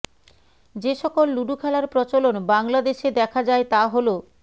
যে সকল লুডু খেলার প্ৰচলন বাংলাদেশে দেখা যায় তা হলোঃ